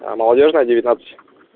аа молодёжная девятнадцать